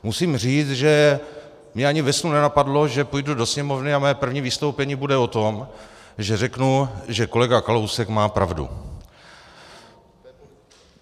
Musím říct, že mě ani ve snu nenapadlo, že půjdu do Sněmovny a moje první vystoupení bude o tom, že řeknu, že kolega Kalousek má pravdu.